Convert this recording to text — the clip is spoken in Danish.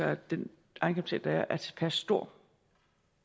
at den egenkapital der er er tilpas stor